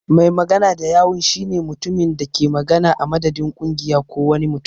Mai magana da yawun shi ne mutumin da ke magana a madadin kungiya ko wani mutum.